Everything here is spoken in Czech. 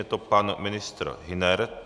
Je to pan ministr Hüner.